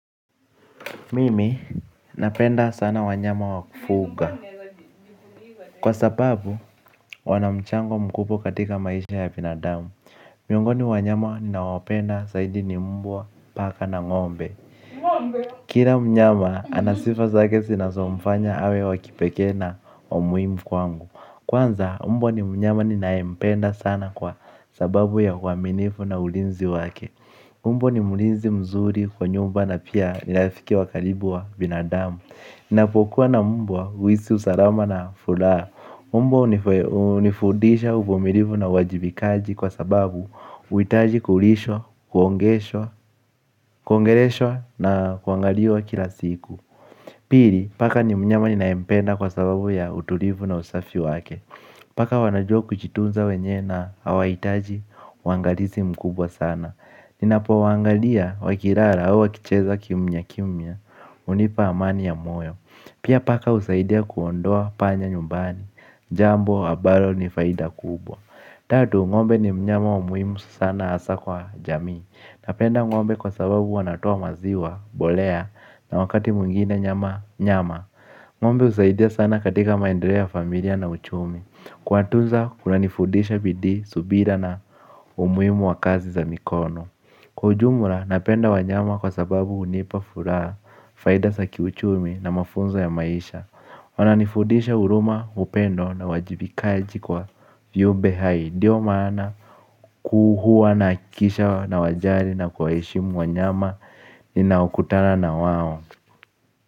Mimi napenda sana wanyama wa kufuga kwa sababu wanamchango mkubwa katika maisha ya binadamu. Miongoni wanyama ninawapenda zaidi ni mbwa, paka na ng'ombe. Kila mnyama anasifa zake zinasomfanya awe wa kipekee na wa muhimu kwangu. Kwanza mbwa ni mnyama ninayempenda sana kwa sababu ya uaminifu na ulinzi wake. Mbwa ni mlinzi mzuri kwa nyumba na pia ni afiki wa karibu wa binadamu. Ninapokua na mbwa, huhisi salama na furaha. Mbwa hunifundisha uvumilivu na uwajibikaji kwa sababu, huhitaji kulishwa, kuongeleshwa na kuangaliwa kila siku. Pili, paka ni mnyama ninayempenda kwa sababu ya utulivu na usafi wake. Paka wanajua kujitunza wenye na hawahitaji uangali, i mkubwa sana. Ninapuo waangalia wakilala au wakicheza kimya kimya hunipa amani ya moyo. Pia paka husaidia kuondoa panya nyumbani. Jambo ambalo ni faida kubwa tatu, ng'ombe ni mnyama wa muhimu sana hasa kwa jamii. Napenda ng'ombe kwa sababu wanatoa maziwa, mbolea na wakati mwingina nyama, nyama. Ng'ombe husaidia sana katika maendeleo ya familia na uchumi. Kuwatunza kunanifudisha bidii, subira na umuhimu wa kazi za mikono. Kwa ujumla, napenda wanyama kwa sababu hunipa furaha. Faida za kiuchumi na mafunzo ya maisha wananifudisha huruma, upendo na uwajibikaji kwa viumbe hai. Ndio maana huwa nahakikisha nawajali na kuwaheshimu wanyama ninaokutana na wao.